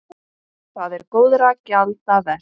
Það er góðra gjalda vert.